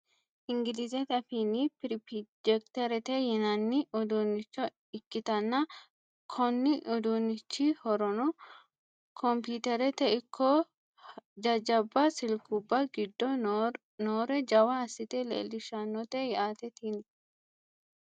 ingilizete afiinni pirpjekiterete yinanni uduunnicho ikkitanna, konni uduunnichi horono kompiiterete ikko jajjabba silkubba giddo noore jawa assite leelishannote yaate tini.